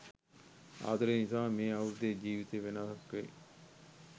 ආදරය නිසාම මේ අවුරුද්දේ ජීවිතේ වෙනසක් වෙයි.